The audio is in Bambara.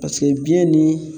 Paseke biyɛn ni